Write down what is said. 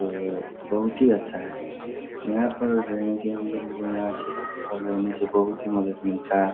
तो बहुत ही अच्छा है यहाँ पर रहने से हमलोगो को यहाँ से रहने से बहुत हीं मदद मिलता है।